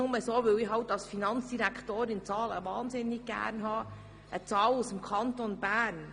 Nur so, weil ich als Finanzdirektorin halt Zahlen liebe, nenne ich Ihnen eine Zahl aus dem Kanton Bern: